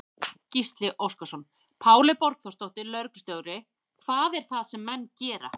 Gísli Óskarsson: Páley Borgþórsdóttir, lögreglustjóri, hvað er það sem menn gera?